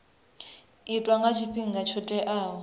itwa nga tshifhinga tsho teaho